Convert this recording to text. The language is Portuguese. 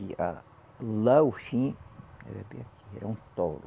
E a lá o fim era bem aqui, era um toro.